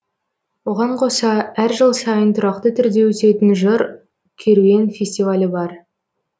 оған қоса әр жыл сайын тұрақты түрде өтетін жыр керуен фестивалі бар